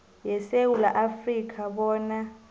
yesewula afrika bona